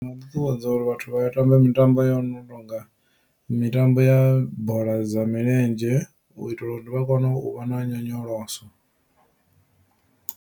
Ndi nga ṱuṱuwedza uri vhathu vha tambe mitambo yo no tonga mitambo ya bola dza milenzhe u itela uri vha kone u vha na nyonyoloso.